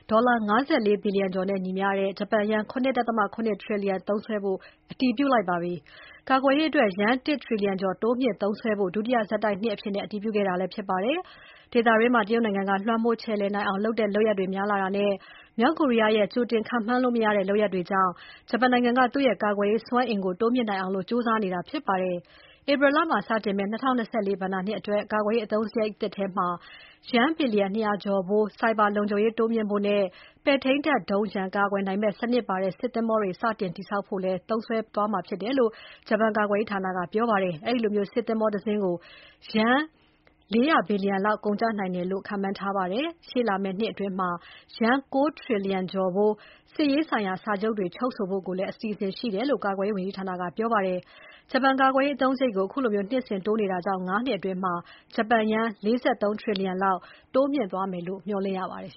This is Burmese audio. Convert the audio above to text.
ဒေါ်လာ ၅၄ ဘီလျံကျော်နဲ့ညီမျှတဲ့ ဂျပန်ယန်း ၇.၇ ထရီလျံသုံးစွဲမယ့် ကာကွယ်ရေးအသုံးစရိတ်ကို အတည်ပြုလိုက်ပါတယ်။ ကာကွယ်ရေးအတွက် ယန်း ၁ ထရီလျံကျော် တိုးမြှင့်သုံးစွဲဖို့ ဒုတိယဆက်တိုက်နှစ်အဖြစ် အတည်ပြုခဲ့တာဖြစ်ပါတယ်။ ဒေသတွင်းမှာ တရုတ်နိုင်ငံက လွှမ်းမိုးခြယ်လှယ်နိုင်အောင်လုပ်တဲ့လုပ်ရပ်တွေ များလာတာနဲ့ မြောက်ကိုရီးယားရဲ့ ကြိုတင်ခန့်မှန်းလို့မရတဲ့ လုပ်ရပ်တွေကြောင့် ဂျပန်နိုင်ငံက သူ့ရဲ့ကာကွယ်ရေးစွမ်းအင်ကို တိုးမြှင့်နိုင်အောင် ကြိုးစားနေတာဖြစ်ပါတယ်။ ဧပြီလမှာစတင်မယ့် ၂၀၂၄ ဘဏ္ဍာနှစ်အတွက် ကာကွယ်ရေးအသုံးစရိတ်သစ်ထဲမှာ ယန်း ဘီလျံ ၂၀၀ ကျော်ဖိုး ဆိုင်ဘာလုံခြုံရေးတိုးမြှင့်ဖို့နဲ့ ပဲ့ထိန်းတပ်ဒုံးရန်ကာကွယ်နိုင်မယ့် စနစ်ပါတဲ့ စစ်သင်္ဘောတွေ စတင်တည်ဆောက်ဖို့သုံးစွဲဖို့ပါဝင်တယ်လို့ ဂျပန်ကာကွယ်ရေးဌာနက ပြောပါတယ်။ အဲဒီလိုစစ်သင်္ဘောတစင်းကို ယန်း ၄၀၀ ဘီလျံ လောက် ကုန်ကျနိုင်တယ်လို့ခန့်မှန်းထားပါတယ်။ ရှေ့လာမယ့်နှစ်အတွင်း ယန်း ၉ ထရီလျံကျော်ဖိုး စစ်ရေးဆိုင်ရာ စာချုပ်တွေ ချုပ်ဆိုဖို့လည်း အစီအစဉ်ရှိတယ်လို့ ကာကွယ်ရေးဝန်ကြီးဌာနက ပြောပါတယ်။ ဂျပန်ကာကွယ်ရေးအသုံးစရိတ်ကို အခုလို နှစ်စဉ်တိုးနေတာကြောင့် ၅ နှစ်အတွင်း ဂျပန်ယန်း ၄၃ ထရီလျံလောက် တိုးမြှင့်သွားမယ်လို့ မျှော်လင့်ရပါတယ်